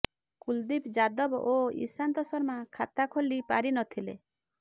କୁଲ୍ଦୀପ୍ ଯାଦବ ଓ ଈଶାନ୍ତ ଶର୍ମା ଖାତା ଖୋଲି ପାରି ନଥିଲେ